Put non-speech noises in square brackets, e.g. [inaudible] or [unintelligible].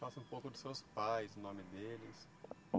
[unintelligible] um pouco dos seus pais, o nome deles.